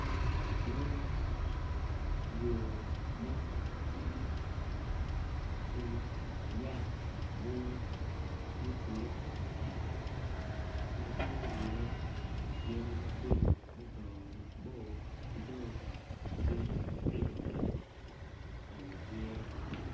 Nen yo mo matitidi ki yat bunga ma ocule matek ma tye iye yadi maboco ma odongo mabor ki dong yadi matino tino bene tye.